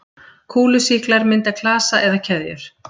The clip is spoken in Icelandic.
Kúlusýklar mynda klasa eða keðjur.